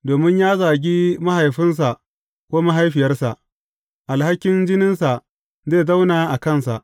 Domin ya zagi mahaifinsa ko mahaifiyarsa, alhakin jininsa zai zauna a kansa.